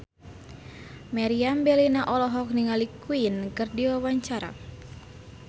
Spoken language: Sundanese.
Meriam Bellina olohok ningali Queen keur diwawancara